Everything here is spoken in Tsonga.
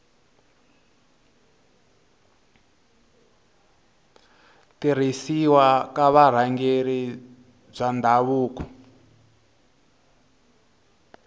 tirhisiwa ka vurhangeri bya ndhavuko